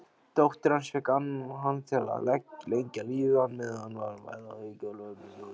Dóttir hans fékk hann til að lengja lífið meðan hann væri að yrkja erfiljóð.